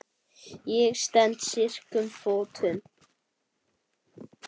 Ég stend styrkum fótum.